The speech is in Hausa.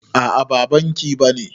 A'a ba banki bane